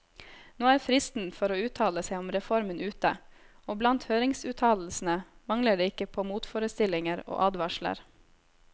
Nå er fristen for å uttale seg om reformen ute, og blant høringsuttalelsene mangler det ikke på motforestillinger og advarsler.